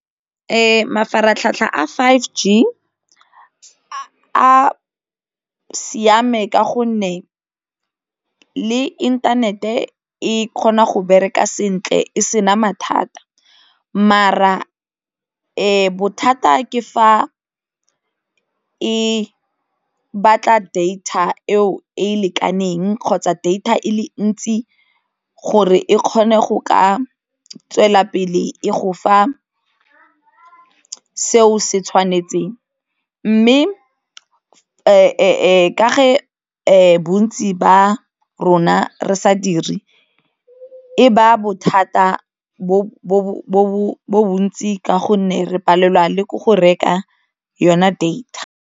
Mafaratlhatlha a five G a siame ka gonne le inthanete e kgona go bereka sentle e se na mathata bothata ke fa e batla data eo e e lekaneng kgotsa data e le ntsi gore e kgone go ka tswela pele e go fa seo se tshwanetseng mme e ka bontsi ba rona re sa diri e ba bothata bo bo bontsi ka gonne re palelwa le ke go reka yona data.